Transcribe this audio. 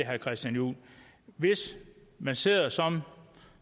herre christian juhl hvis man sidder som